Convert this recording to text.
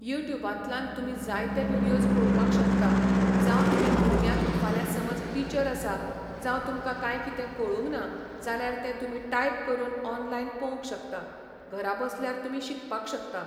युट्यूबांतल्यान तुमी जाय ते व्हिडियोज पोवपाक शकता. जावं तुमी भुरग्यांक फाल्यां समज टिचर आसा जावं तुमकां कांय कितें कळुंक ना जाल्यार ते तुमी टायप करुन ऑन्लायन पोवंक शकता. घरा बसल्यार तुमी शिकपाक शकता.